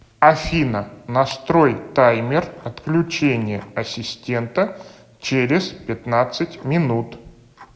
афина настрой таймер отключения ассистента через пятнадцать минут